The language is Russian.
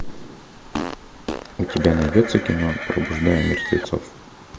у тебя найдется кино пробуждая мертвецов